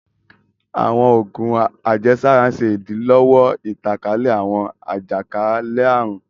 Awọn oògùn àjẹsára ń ṣe idilọwọ ìtànkálẹ̀ awọn àjakalẹ-àrun